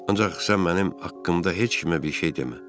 Ancaq sən mənim haqqımda heç kimə bir şey demə.